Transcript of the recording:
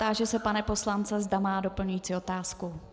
Táži se pana poslance, zda má doplňující otázku.